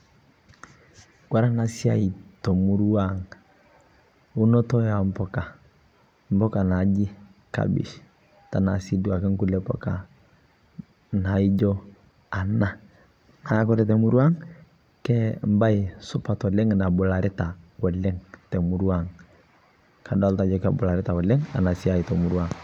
unotoo ee mpukaa najii kabich, mbai suppat te murua aang amu kobularitaa.